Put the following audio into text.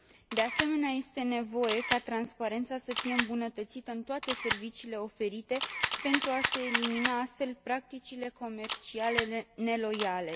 De asemenea, este nevoie ca transparența să fie îmbunătățită în toate serviciile oferite pentru a se elimina astfel practicile comerciale neloiale.